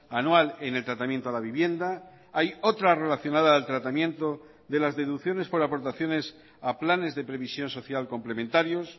anual en el tratamiento a la vivienda hay otra relacionada al tratamiento de las deducciones por aportaciones a planes de previsión social complementarios